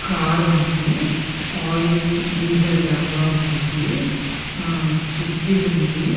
Car ఉంది oil diesel డబ్బా ఉంది ఆ సుత్తి ఉంది.